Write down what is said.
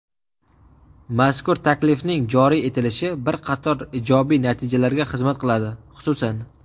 Mazkur taklifning joriy etilishi bir qator ijobiy natijalarga xizmat qiladi, xususan:.